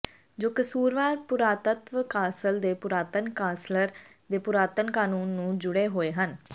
ਜੋ ਕਸੂਰਵਾਰ ਪੁਰਾਤੱਤਵ ਕਾਸਲ ਦੇ ਪੁਰਾਤਨ ਕਾਸਲਰ ਦੇ ਪੁਰਾਤਨ ਕਨੂੰਨ ਨਾਲ ਜੁੜੇ ਹੋਏ ਹਨ